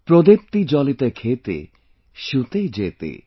ProdeeptiJaliteKhete, Shutee, Jethe